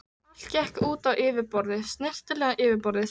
Allt gekk út á yfirborðið, snyrtilegt yfirborðið.